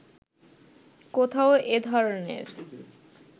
কোথাও এ ধরনের